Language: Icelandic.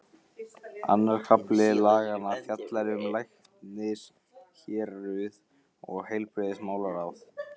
Annar kafli laganna fjallar um læknishéruð og heilbrigðismálaráð.